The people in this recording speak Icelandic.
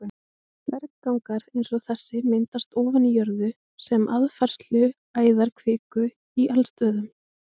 Berggangar eins og þessi myndast ofan í jörðu sem aðfærsluæðar kviku í eldstöðvum.